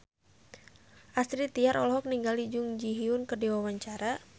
Astrid Tiar olohok ningali Jun Ji Hyun keur diwawancara